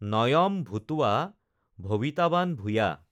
নয়্ম ভুতৱা ভৱিতাৱান ভুয়া